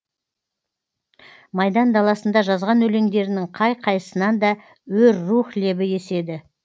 майдан даласында жазған өлеңдерінің қай қайсысынан да өр рух лебі еседі